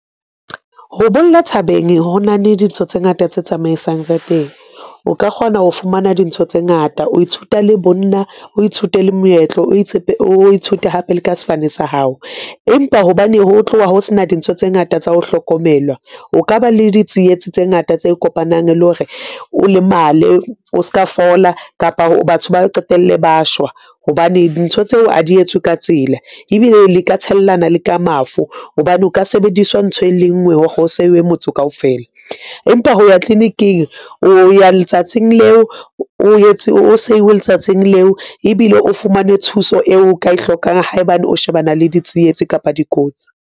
Ho bolla thabeng, ho na le dintho tse ngata tse tsamaisang tsa teng. O ka kgona ho fumana dintho tse ngata o ithuta le bonna, o ithute le moetlo, o ithute hape le ka sefane sa hao. Empa hobane ho tloha ho sena dintho tse ngata tsa ho hlokomelwa, o ka ba le ditsietsi tse ngata tse kopanang le hore o lemale o ska fola kapa ho batho ba qetelle ba shwa hobane ntho tseo a di etswe ka tsela ebile le ka tshellana le ka mafu hobane o ka sebediswa ntho e le nngwe ho seuwe motho kaofela. Empa ho ya clinic-ing o ya letsatsing leo, o etse o seuwe letsatsing leo ebile o fumane thuso eo ka e hlokang haebane o shebana le ditsietsi kapa dikotsi.